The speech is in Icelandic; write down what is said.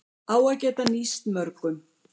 Á að geta nýst mörgum